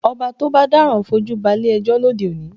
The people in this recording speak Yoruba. Ọba tó bá dáràn fojú balé ẹjọ́ lóde òní